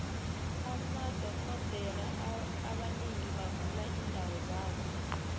amadoxhodere abanengi bavula iindawo zabo